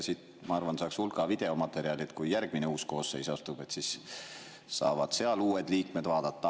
Siit, ma arvan, saaks hulga videomaterjali, nii et kui järgmine koosseis astub, siis saavad sealsed uued liikmed seda vaadata.